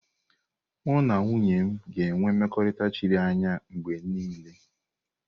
Mụ na nwunye m ga-enwe mmekọrịta chiri anya mgbe niile.